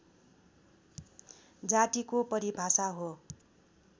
जातिको परिभाषा हो